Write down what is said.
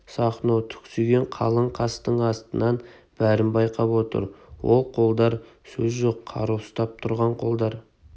сахно түксиген қалың қастың астынан бәрін байқап отыр ол қолдар сөз жоқ қару ұстап тұрған қолдар